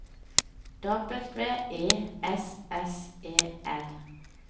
W E S S E L